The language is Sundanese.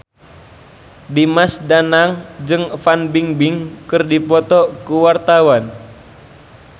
Dimas Danang jeung Fan Bingbing keur dipoto ku wartawan